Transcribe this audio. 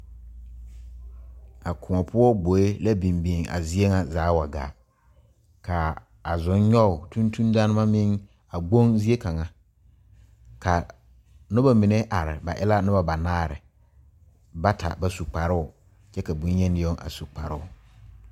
A koɔ poɔ gboe la biŋ biŋ a zie ŋa zaa a wa gaa ka a zonnyɔge tontondaana meŋ a gboŋ zie kaŋa ka noba mine are ba e la noba banaare bata ba su kparoo kyɛ ka bonyeni yoŋ a su kparoo.